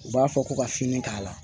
U b'a fɔ ko ka fini k'a la